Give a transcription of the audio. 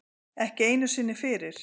Ekki einu sinni fyrir